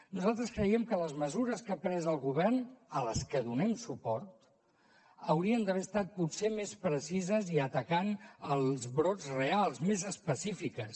nosaltres creiem que les mesures que ha pres el govern a les que donem suport haurien d’haver estat potser més precises i atacant els brots reals més específiques